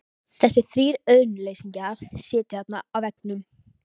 Þessir þrír auðnuleysingjar sitja þarna á veggnum.